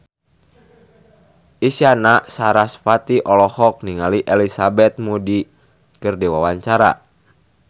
Isyana Sarasvati olohok ningali Elizabeth Moody keur diwawancara